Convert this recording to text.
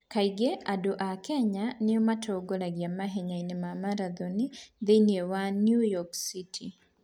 Kaingĩ andũ a Kenya nĩo matongoragia mahenya ma marathoni thĩinĩ wa New York City.